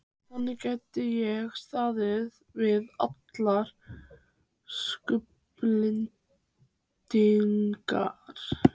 Þannig gæti ég staðið við allar skuldbindingar.